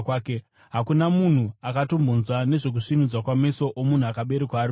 Hakuna munhu akatombonzwa nezvokusvinudzwa kwameso omunhu akaberekwa ari bofu.